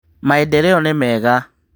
Maendereo nĩ mega.